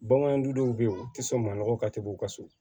Bagandɔw be yen u ti sɔn manɔgɔ ka teli u ka so